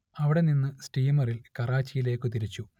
അവിടെനിന്ന് സ്റ്റീമറിൽ കറാച്ചിയിലേക്ക് തിരിച്ചു